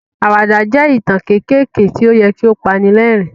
Àwàdà jẹ́ ìtàn kéékèèké tí ó yẹ kí ó pani lẹ́rìn-ín.